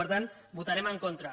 per tant hi votarem en contra